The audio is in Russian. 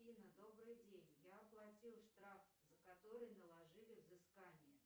афина добрый день я оплатила штраф за который наложили взыскание